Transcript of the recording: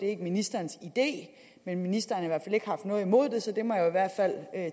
er ministerens idé men ministeren har i hvert fald ikke haft noget imod det så det må jeg i hvert fald